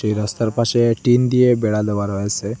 রাস্তার পাশে টিন দিয়ে বেড়া দেওয়া রয়েসে।